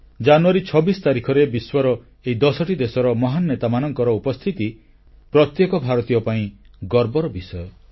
ଜାନୁୟାରୀ 26 ତାରିଖରେ ବିଶ୍ୱର ଏହି 10ଟି ଦେଶର ମହାନ ନେତାମାନଙ୍କର ଉପସ୍ଥିତି ପ୍ରତ୍ୟେକ ଭାରତୀୟ ପାଇଁ ଗର୍ବର ବିଷୟ